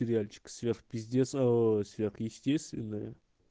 сериальчик сверх пиздец ээ сверхъестественное